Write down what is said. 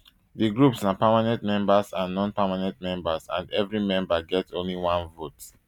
di groups na permanent members and nonpermanent members and evri member get only one vote